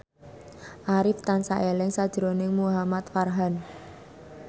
Arif tansah eling sakjroning Muhamad Farhan